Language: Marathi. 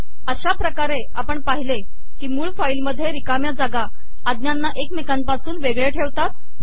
अशा पकारे आपण पािहले की मूळ फाईल मधे िरकाणया जागा आजाना एकमेकापासून वेगळे ठेवतात